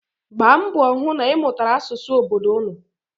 Gbaa mbọ hụ na ị mụtara asụsụ obodo ụnụ.